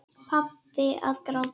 Pabbi að gráta!